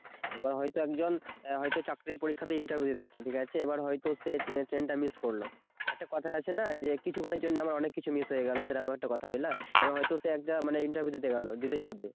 এবার হয়তো একজন হয়তো চাকরির পরীক্ষাতে ইন্টারভিউ দিতে যাচ্ছে ঠিক আছে এবার হয়তো সে ট্রেন টা মিস করলো একটা কথাই আছে না যে কিছুক্ষণের জন্য অনেক কিছু মিস হয়ে গেল সেরকম একটা কথা বুঝলা এবং সে হয়তো একটা ইন্টারভিউ দিতে গেলো দিতে যাবে